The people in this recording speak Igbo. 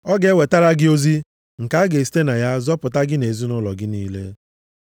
Ọ ga-ewetara gị ozi nke a ga-esite na ya zọpụta gị nʼezinaụlọ gị niile.’